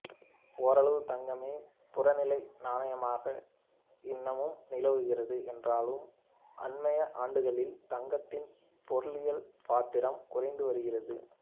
ஓரளவுக்குத் தங்கமே புறநிலை நாணயமாக இன்னமும் நிலவுகிறது என்றாலும் அண்மைய ஆண்டுகளில் தங்கத்தின் பொருளியல் பாத்திரம் குறைந்து வருகிறது